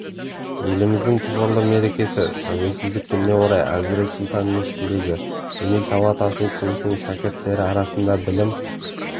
еліміздің тұғырлы мерекесі тәуелсіздік күніне орай әзірет сұлтан мешітіндегі діни сауат ашу курсының шәкірттері арасында білім